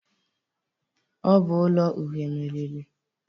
Ọ bụ ụlọ uhe meriri.